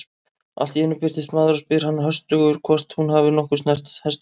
Allt í einu birtist maður og spyr hana höstugur hvort hún hafi nokkuð snert hestinn.